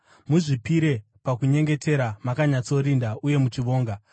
Muzvipire pakunyengetera, makanyatsorinda uye muchivonga.